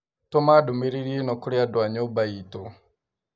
tũma ndũmĩrĩri ĩno kũrĩ andũ a nyũmba itũ.